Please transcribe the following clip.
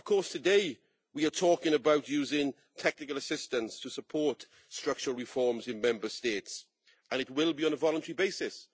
Today, we are talking about using technical assistance to support structural reforms in Member States. This will be on a voluntary basis.